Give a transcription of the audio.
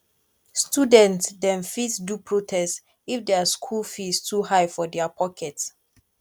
student dem fit do protest if dia school fees too high for dia pocket